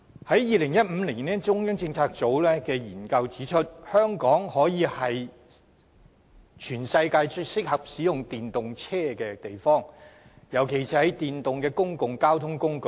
在2015年，中央政策組的研究指出，香港可說是全世界最適合使用電動車的地方，尤其是電動的公共交通工具。